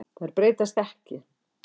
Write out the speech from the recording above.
Þær breytast ekki.